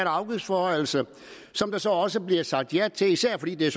og afgiftsforhøjelse som der så også bliver sagt ja til især fordi det